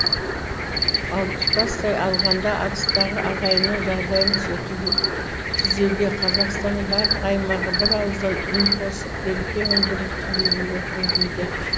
ал тұтастай алғанда арыстағы ағайынның жағдайын түзеуге қазақстанның барлық аймағы бір ауыздан үн қосып береке мен бірліктің билігінен көрінуде